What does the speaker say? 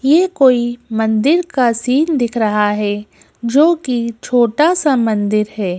ये कोई मंदिर का सीन दिख रहा है जो कि छोटा सा मंदिर है।